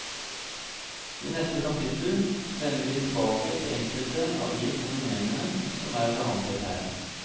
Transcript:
I neste kapittel vender vi tilbake til enkelte av de fenomenene som er behandlet her.